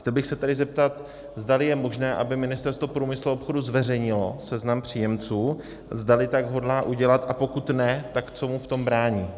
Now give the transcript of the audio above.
Chtěl bych se tedy zeptat, zdali je možné, aby Ministerstvo průmyslu a obchodu zveřejnilo seznam příjemců, zdali tak hodlá udělat, a pokud ne, tak co mu v tom brání.